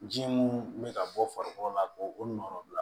Ji mun be ka bɔ farikolo la k'o o nɔrɔ bila